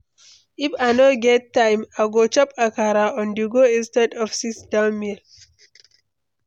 If I no get time, I go chop akara on-the-go instead of sit-down meal.